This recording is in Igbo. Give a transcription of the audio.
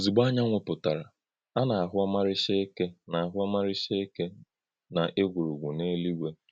Ǒzùgbò ānyànwụ̄ pụ̀tárà, à nā-àhụ̀ ọ̀márí̄chá̀ ékè̄ nā-àhụ̀ ọ̀márí̄chá̀ ékè̄ nà ègwùrùgwù n’èlú̄ígwè̄.